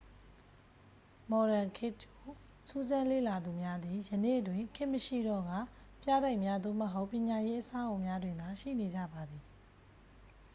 မော်ဒန်ခေတ်ကြို စူးစမ်းလေ့လာသူများသည် ယနေ့တွင် ခေတ်မရှိတော့ကာ ပြတိုက်များ သို့မဟုတ် ပညာရေးအဆောက်အအုံများတွင်သာ ရှိနေကြပါသည်